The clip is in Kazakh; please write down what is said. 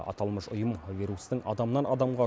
аталмыш ұйым вирустың адамнан адамға